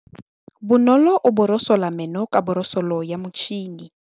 Bonolô o borosola meno ka borosolo ya motšhine.